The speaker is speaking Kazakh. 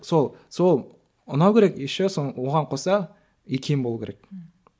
сол сол ұнау керек еще сол оған қоса икем болу керек ммм